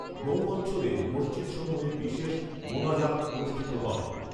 নৌঅঞ্চলের মসজিদসমূহে বিশেষ মোনাজাত অনুষ্ঠিত হয়